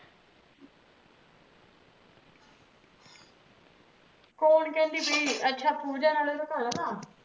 ਕੋਣ ਕਿਹੰਦੀ ਪੀ ਅੱਛਾ ਪੂਜਾ ਨਾਲੇ ਓਹਦਾ ਘਰ ਵਾਲਾਂ